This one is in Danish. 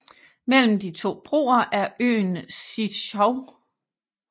Mellem de to broer er øen Siyezhou